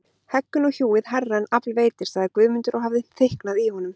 Heggur nú hjúið hærra en afl veitir, sagði Guðmundur og hafði þykknað í honum.